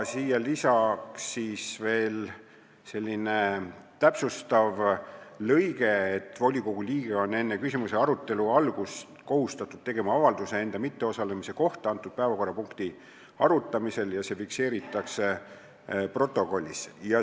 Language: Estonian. Lisaks on veel selline täpsustav lõige, kus on öeldud, et volikogu liige on enne sellise küsimuse arutelu algust kohustatud tegema avalduse enda mitteosalemise kohta selle päevakorrapunkti arutamisel ja see fikseeritakse protokollis.